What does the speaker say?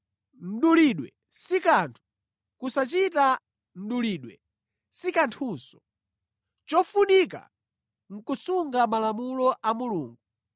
Mdulidwe si kanthu, kusachita mdulidwe si kanthunso. Chofunika nʼkusunga malamulo a Mulungu.